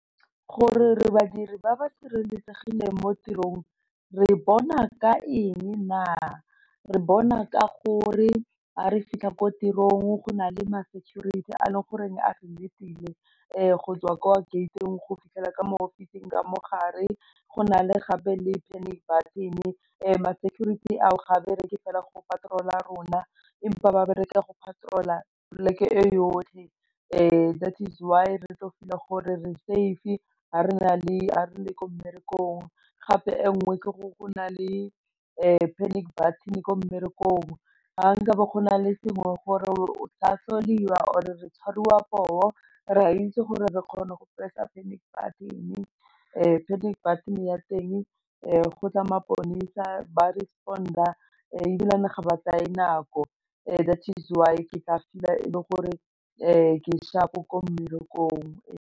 Gore re badiri ba ba sireletsegileng mo tirong re bona ka eng na, re bona ka gore a re fitlha ko tirong go na le ma-security a leng gore a re letile go tswa ko gate-ng go fitlhela ka mo go office-ng ka mo gare, go na le gape le panic-button ma-security ao ga bereke fela go patrol-a rona, empa ba bereke go patrol-a plek e yotlhe that is why re tlo feel a gore re safe ga re le ko mmerekong, gape e nngwe go na le panic-button ko mmerekong ga nka be go na le sengwe gore o or re tshwariwa poo re a itse gore re kgone go press a panic button, panic button ya teng go tla maponesa ba respon-a ebilane ga ba tsaye nako that is why ke tla fitlhela e le gore ke sharp-o ko mmerekong.